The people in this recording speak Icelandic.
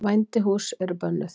Vændishús eru bönnuð.